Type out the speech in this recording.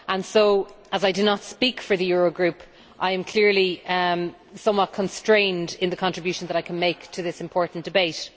So, as I do not speak for the Eurogroup, I am clearly somewhat constrained in the contribution that I can make to this important debate.